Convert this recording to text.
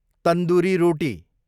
tandoori रोटी